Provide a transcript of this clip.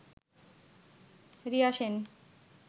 Riya Sen